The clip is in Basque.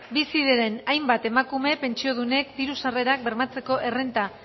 bizi diren hainbat emakume pentsiodunek diru sarrerak bermatzeko errenta